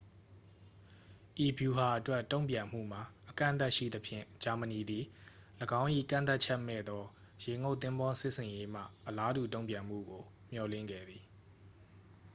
ဤဗျူဟာအတွက် တုန့်ပြန်မှုမှာ အကန့်အသတ်ရှိသဖြင့် ဂျာမဏီသည် ၎င်း၏ ကန့်သတ်ချက်မဲ့သော ရေငုပ်သင်္ဘောစစ်ဆင်ရေးမှ အလားတူတုန့်ပြန်မှုကို မျှော်လင့်ခဲ့သည်